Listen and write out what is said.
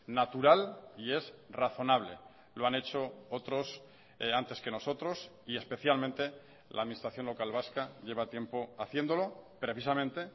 natural y es razonable lo han hecho otros antes que nosotros y especialmente la administración local vasca lleva tiempo haciéndolo precisamente